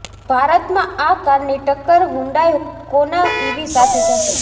ભારતમાં આ કારની ટક્કર હ્યુન્ડાઈ કોના ઈવી સાથે થશે